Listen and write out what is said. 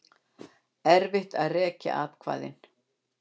Erfitt að rekja atkvæðin